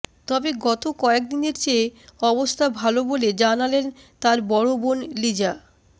তবে গত কয়েকদিনের চেয়ে অবস্থা ভালো বলে জানালেন তার বড় বোন লিজা